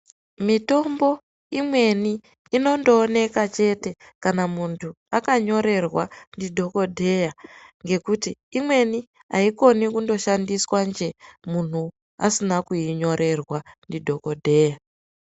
Mitombo imweni inooneka chete kana muntu akanyorerwa ndidhokodheya ngekuti imweni aikoni kundoshandiswa nje muntu asina kuinyorerwa ndidhokodheya.